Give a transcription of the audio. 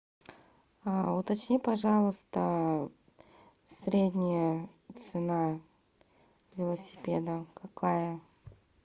уточни пожалуйста средняя цена велосипеда какая